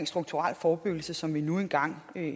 strukturel forebyggelse som vi nu engang